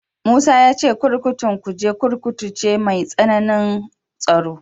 Musa ya ce kurkukun Kuje Kurkuku ce mai matsanancin tsaro.